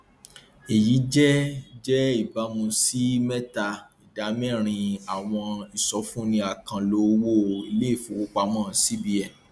àjọ ncaa ń kìlọ fún awakọ ọkọ òfurufú nípa bí ojú ọjọ búburú ti ṣàkóbá fún ìgbòkègbodò